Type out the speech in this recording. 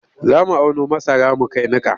Za mu auno masara mu kai niƙa.